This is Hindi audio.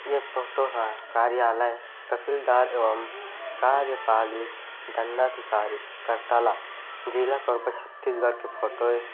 ये फोटो हा कार्यालय तहसीलदार एवं कार्यपालिक दंडाधिकारी करताला जिला कोरबा छत्तीसगढ़ की फोटो ऐ--